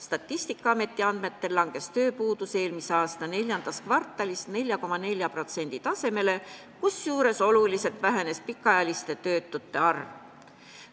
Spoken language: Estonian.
Statistikaameti andmetel langes tööpuudus eelmise aasta IV kvartalis 4,4% tasemele, kusjuures oluliselt vähenes pikaajaliste töötute arv.